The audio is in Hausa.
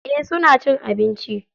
Eh suna cin abinci.